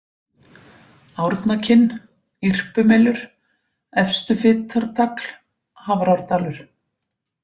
Árnakinn, Irpumelur, Efstufitartagl, Hafrárdalur